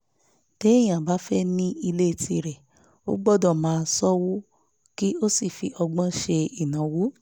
téèyàn bá fẹ́ ní ilé tirẹ̀ ó gbọ́dọ̀ máa ṣọ́wó kí ó sì fi ọgbọ́n ṣe ìnáwó